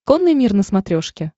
конный мир на смотрешке